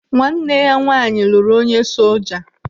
Nwanne ya nwaanyị lụrụ onye soja.